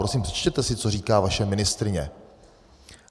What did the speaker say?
Prosím, přečtěte si, co říká vaše ministryně.